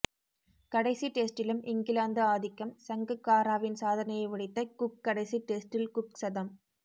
கடைசி டெஸ்ட்டிலும் இங்கிலாந்து ஆதிக்கம் சங்கக்காராவின் சாதனையை உடைத்த குக் கடைசி டெஸ்ட்டில் குக் சதம்